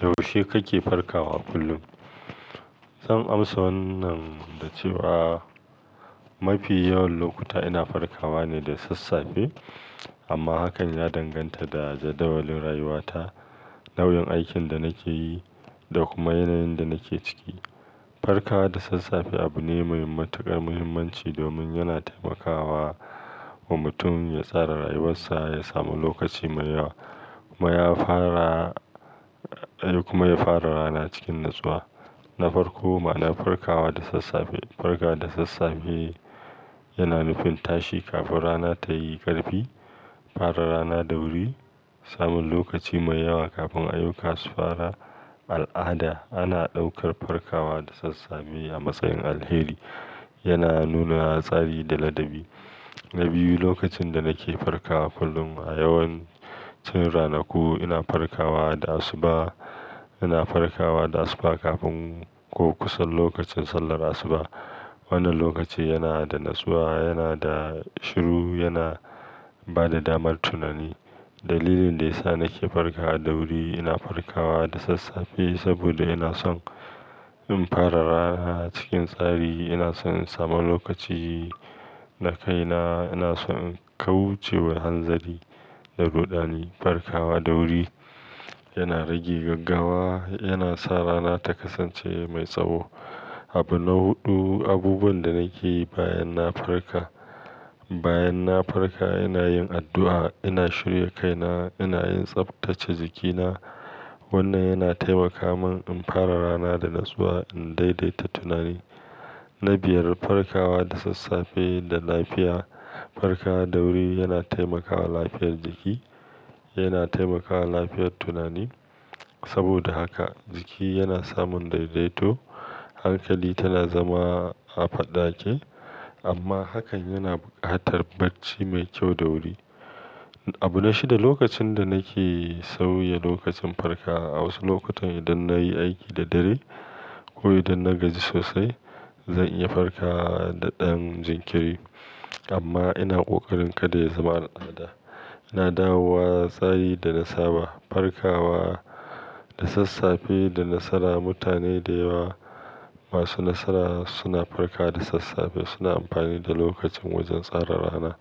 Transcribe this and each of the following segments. Yaushe kake farkawa kullum? Zan amsa wannan da cewa mafi yawan lokuta ina farkawa ne da sassafe. Amma hakan ya danganta da jadawalin rayuwata, nau'in aikin da nake yi da kuma yanayin da nake ciki. Farkawa da sassafe abu ne mai matuƙar muhimmanci domin yana taimakawa wa mutum ya tsara rayuwarsa, ya sami lokaci mai yawa kuma ya fara, kuma ya fara rana cikin natsuwa. Na farko ma, na farkawa da sassafe. Farkawa da sassafe yana nufin tashi kafin rana ta yi ƙarfi, fara rana da wuri, samun lokaci mai yawa kafin ayyuka su fara. Al'ada ana ɗaukar farkawa da sassafe a matsayin alheri. Yana nuna tsari da ladabi. Na biyu, lokacin da nake farkawa kullum a yawancin ranaku ina farkawa da asuba. Ina farkawa da asuba kafin ko kusa lokacin sallar asuba. Wannan lokaci yana da natsuwa, yana da shiru, yana ba da damar tunani. Dalilin da ya sa nake farka da wuri, ina farkawa da sassafe saboda ina son in fara rana cikin tsari. Ina son in sami lokaci na kaina. Ina son in kauce wa hanzari da rudani. Farkawa da wuri yana rage gaggawa, yana sa rana ta kasance mai tsawo. Abu na huɗu, abubuwan da nake yi bayan na farka. Bayan na farka ina yin addu'a, ina shirya kaina, ina yin tsaftace jikina. Wannan yana taimaka mun in fara rana da natsuwa, in daidaita tunani. Na biyar, farkawa da sassafe da lafiya. Farkawa da wuri yana taimakawa lafiyar jiki, yana taimakawa lafiyar tunani. Saboda haka jiki yana samun daidaito, hankali tana zama a faɗake amma hakan yana bukakar bacci mai kyau da wuri. Abu na shida, lokacin da nake sauya lokacin farka. A wasu lokutan idan na yi aiki da dare ko idan na gaji sosai, zan iya farka da ɗan jinkiri. Amma ina ƙoƙarin kada ya zama al'ada. Ina dawowa tsari da nasaba. Farkawa da sassafe da nasara. Mutane da yawa masu nasara suna farka da sassafe. Suna amfani da lokacin wajen tsara rana.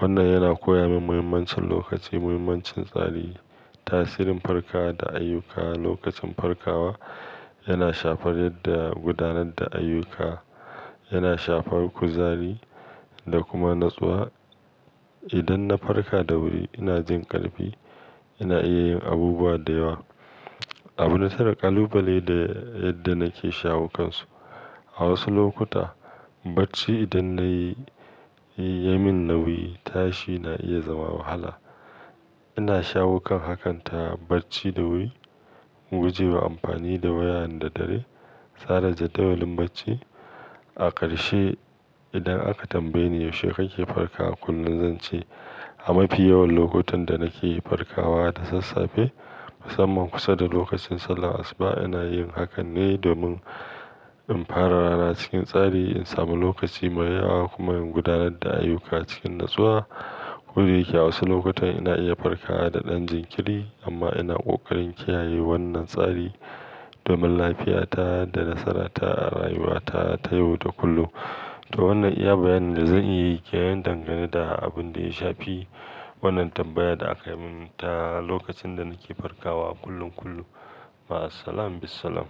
Wannan yana koya min muhimmancin lokaci, muhimmancin tsari. Tasirin farkawa da ayyuka. Lokacin farkawa yana shafar yadda gudanar da ayyuka, yana shafar kuzari da kuma natsuwa. Idan na farka da wuri ina jin ƙarfi, ina iya yin abubuwa da yawa. Abu na tara, ƙalubale da yadda nake shawo kansu. A wasu lokuta bacci idan na yi, ya min nauyi, tashi na iya zama wahala. Ina shawo kan hakan ta bacci da wuri, guje wa amfani da waya da dare, tsara jadawalin bacci. A ƙarshe idan aka tambaye ni yaushe kake farkawa kullum, zan ce a mafi yawan lokutan da nake farkawa da sassafe. Musamman kusa da lokacin sallar asuba ina yin hakan ne domin in fara rana cikin tsari, in sami lokaci mai yawa kuma in gudanar da ayyuka cikin natsuwa. Ko da yake a wasu lokutan ina iya farkawa da ɗan jinkiri amma ina ƙoƙarin kiyaye wannan tsari domin lafiyata da nasarata a rayuwata ta yau da kullum. To wannan iya bayanin da zan iya yi ke yin dangane da abin da ya shafi wannan tambayar da aka mun ta lokacin da nake farkawa kullum kullum. Ma ssalam bisalaam.